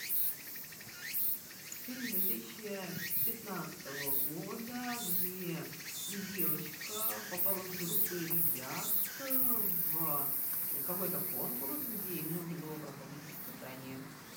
фильм две тысячи пятнадцатого года где девочка попала с группой ребят в какой то конкурс где им нужно было проходить испытания